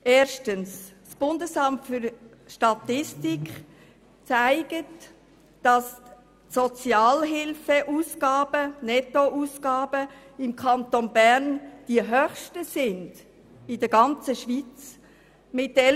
Erstens zeigt das Bundesamt für Statistik, dass der Kanton Bern mit 11 465 Franken netto die höchsten Sozialhilfeausgaben in der ganzen Schweiz aufweist.